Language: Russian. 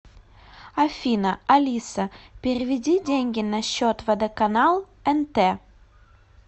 афина алиса переведи деньги на счет водоканал нт